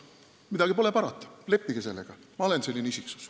Midagi pole parata, leppige sellega, et ma olen selline isiksus.